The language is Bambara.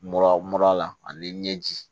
Mura mura la ani ɲɛji